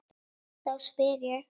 Þá spyr ég.